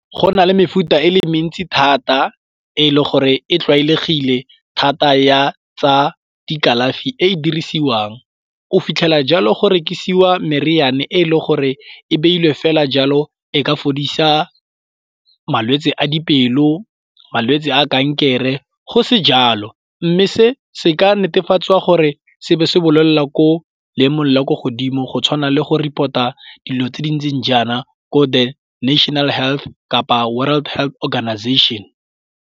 Go na le mefuta e le mentsi thata e le gore e tlwaelegile thata ya tsa dikalafi e e dirisiwang. O fitlhela jalo gore rekisiwa meriane e e le gore e beile fela jalo e ka fodisa malwetsi a dipelo, malwetsi a kankere go se jalo. Nme se se ka netefatsa gore se ba se bolelela ko lame le ko godimo go tshwana le go report-a dilo tse di ntseng jaana ko di National Health kapa World Health Organization.